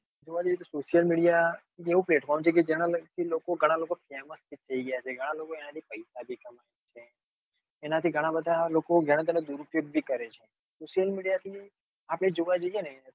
Social media એવું platform છે ઘણાં લોકો famous થઇ ગયા છે. ઘણા લોકો એના થી પૈસા પણ કમાય છે. એના થી ઘણા બધા લોકો દુર ઉપયોગ પણ કરે છે Social media થી આપણે જોવા જઈએ ને